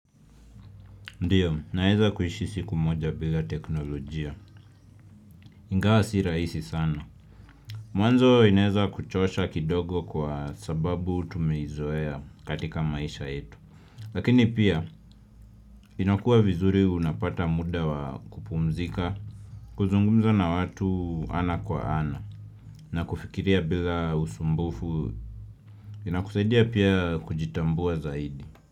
Ndiyo, naweza kuishi siku moja bila teknolojia. Ingawa si rahisi sana. Mwanzo inaweza kuchosha kidogo kwa sababu tumeizoea katika maisha yetu. Lakini pia, inakuwa vizuri unapata muda wakupumzika, kuzungumza na watu ana kwa ana, na kufikiria bila usumbufu. Inakusaidia pia kujitambua zaidi.